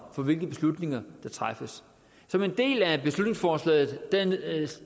for hvilke beslutninger der træffes som en del af beslutningsforslaget